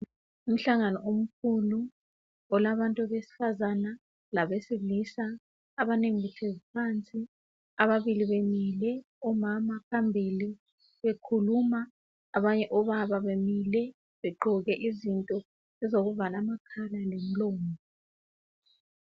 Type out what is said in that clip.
Umhlangano omkhulu, olabantu besifazana labesilisa, abanengi behlezi phansi ababili bemile. Omama phambili bekhuluma. Abanye obaba bemile begqoke izinto ezokuvala amakhala lomlomo.